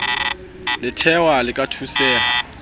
letahwa le ka thuseha ha